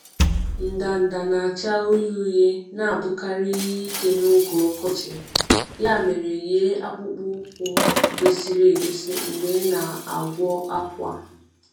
Ndanda na-acha uhie uhie na-abụkarị ihe ike n’oge ọkọchị, ya mere yie akpụkpọ ụkwụ ụkwụ kwesịrị ekwesị mgbe ị na-agwọ akwa.